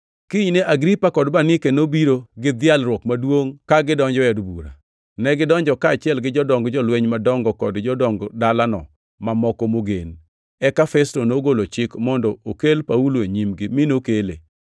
Kinyne Agripa kod Bernike nobiro gi dhialruok maduongʼ ka gidonjo e od bura. Negidonjo kaachiel gi jodong jolweny madongo kod jodong dalano mamoko mogen. Eka Festo nogolo chik mondo okel Paulo e nyimgi, mi nokele.